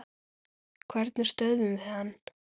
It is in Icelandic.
Hvernig stöðvum við hann?